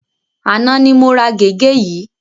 Àná ni mo ra gègé yìí.